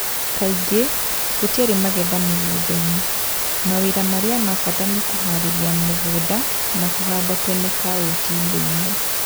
Kaingĩ, gũtiarĩ magetha mĩgũnda-inĩ . Mawĩra marĩa ma bata nĩ kũhaarĩria mugũnda na kũhanda tene kauntĩ-inĩ imwe